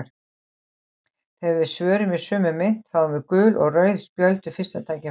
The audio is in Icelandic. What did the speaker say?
Þegar við svörum í sömu mynt fáum við gul og rauð spjöld við fyrsta tækifæri.